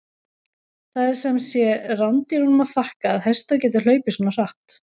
Það er sem sé rándýrunum að þakka að hestar geta hlaupið svona hratt!